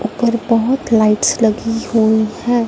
ऊपर बहुत लाइट्स लगी हुई हैं।